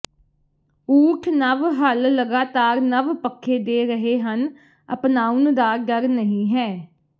ਊਠ ਨਵ ਹੱਲ ਲਗਾਤਾਰ ਨਵ ਪੱਖੇ ਦੇ ਰਹੇ ਹਨ ਅਪਣਾਉਣ ਦਾ ਡਰ ਨਹੀ ਹੈ